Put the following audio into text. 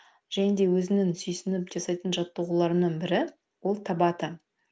және де өзімнің сүйсініп жасайтын жаттығуларымның бірі ол табата